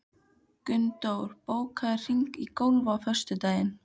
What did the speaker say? Gunndór, bókaðu hring í golf á föstudaginn.